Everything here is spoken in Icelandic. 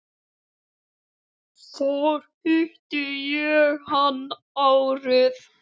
Þar hitti ég hann árið